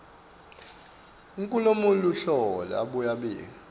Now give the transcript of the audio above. enkhulumoluhlolo abuye abike